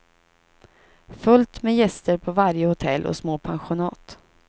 Fullt med gäster på varje hotell och små pensionat.